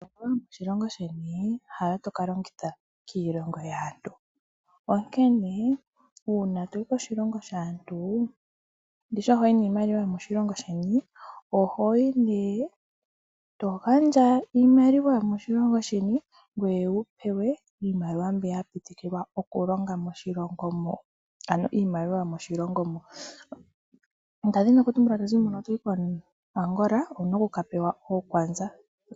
Iimaliwa yomoshilongo sheni hayo toka longitha kiilongo yaantu. Onkene uuna toyi koshilongo shaantu, ndishi ohoyi niimaliwa yomoshilongo sheni. Ohoyi ne eto gandja iimaliwa yomoshilongo sheni ngoye wupewe iimaliwa mbiya yapitikilwa okulonga moshilongo mo. Ano iimaliwa yomoshilongo moka. Ndazi nokutumbula tozi muka toyi ko Angola owuna okukapewa ookwanza.